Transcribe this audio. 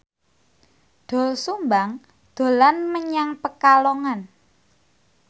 Doel Sumbang dolan menyang Pekalongan